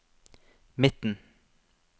midten